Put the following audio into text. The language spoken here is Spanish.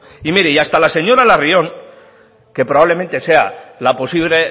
y mire hasta la señora larrion que probablemente sea la posible